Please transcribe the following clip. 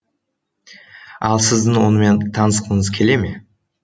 ал сіздің онымен танысқыңыз келе ме